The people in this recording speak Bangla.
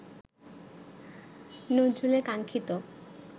নজরুলের কাঙ্ক্ষিত